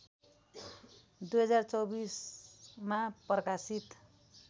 २०२४ मा प्रकाशित